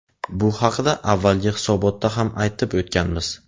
Bu haqida avvalgi hisobotda ham aytib o‘tganmiz.